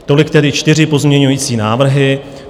Tolik tedy čtyři pozměňující návrhy.